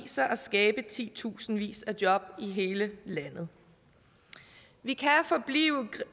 sig at skabe titusindvis af job i hele landet vi kan forblive